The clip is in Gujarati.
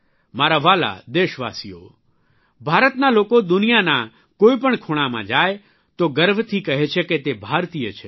મારા વ્હાલા દેશવાસીઓ ભારતના લોકો દુનિયાના કોઇપણ ખૂણામાં જાય છે તો ગર્વથી કહે છે કે તે ભારતીય છે